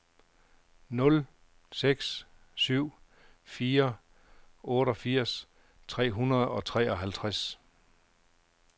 nul seks syv fire otteogfirs tre hundrede og treoghalvtreds